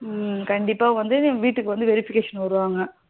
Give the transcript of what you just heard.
கண்டிப்பா வந்து வீட்டுக்கு வந்து verification வருவாங்க